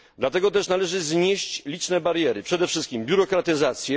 Dlatego też należy znieść liczne bariery, przede wszystkim biurokratyzację.